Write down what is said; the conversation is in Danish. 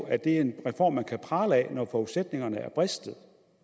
at det er en reform man kan prale af når forudsætningerne er bristet